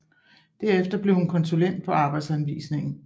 Derefter blev hun konsulent på Arbejdsanvisningen